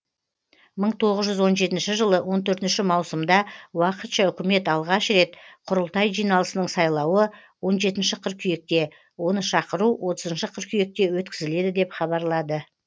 мың тоғыз жүз он жетінші жылы он төртінші маусымда уақытша үкімет алғаш рет құрылтай жиналысының сайлауы он жетінші қыркүйекте оны шақыру отызыншы қыркүйекте өткізіледі деп хабарлады